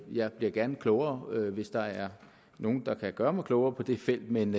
jeg bliver gerne klogere hvis der er nogle der kan gøre mig klogere på det felt men